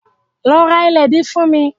Lọ ra ìlédìí fún mi!